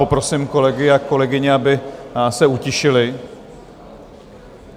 Poprosím kolegy a kolegyně, aby se utišili.